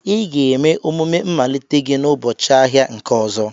Ị ga-eme omume mmalite gị n'ụbọchị ahịa nke ọzọ.